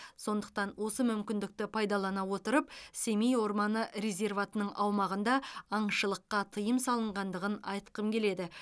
сондықтан осы мүмкіндікті пайдалана отырып семей орманы резерватының аумағында аңшылыққа тыйым салынғандығын айтқым келеді